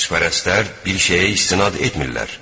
Xaçpərəstlər bir şeyə istinad etmirlər.